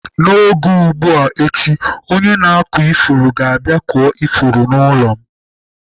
N'oge ugbu a echi, onye na-akụ ifuru ga-abịa kụọ ifuru n'ụlọ.